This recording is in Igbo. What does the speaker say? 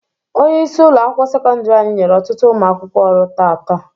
Onyeisi ụlọ akwụkwọ sekọndiri anyị nyere ọtụtụ ụmụ akwụkwọ ọrụ taata.